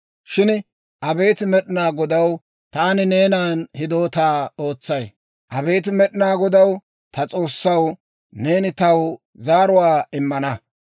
Shin abeet Med'inaa Godaw, taani neenan hidootaa ootsay. Abeet Med'inaa Godaw, ta S'oossaw, neeni taw zaaruwaa immana.